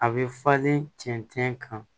A bɛ falen cɛncɛn kan